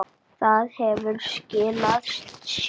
Það hefur skilað sér.